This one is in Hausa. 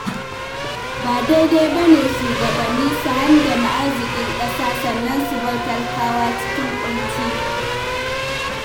Ba daidai ba ne shugabanni su handame arzikin ƙasa sannan su bar talakawa cikin ƙunci.